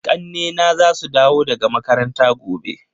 Ƙannena za su dawo daga makaranta gobe.